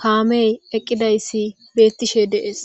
kameyi eqidayisi betishe dee's